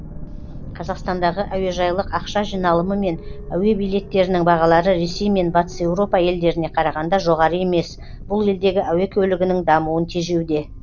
қазақстандағы әуежайлық ақша жиналымы мен әуе билеттерінің бағалары ресей мен батыс еуропа елдеріне қарағанда жоғары емес бұл елдегі әуе көлігінің дамуын тежеуде